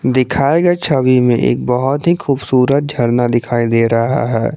दिखाए गए छवि में एक बहुत ही खूबसूरत झरना दिखाई दे रहा है।